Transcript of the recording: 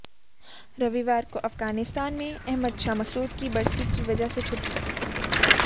रविवार को अफगानिस्तान में अहमद शाह मसऊद की बरसी की वजह से छुट्टी थी